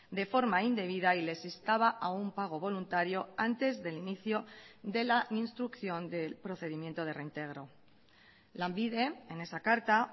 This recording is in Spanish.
de forma indebida y les instaba a un pago voluntario antes del inicio de la instrucción del procedimiento de reintegro lanbide en esa carta